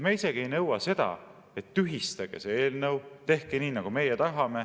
Me isegi ei nõua seda, et tühistage see eelnõu, tehke nii, nagu meie tahame.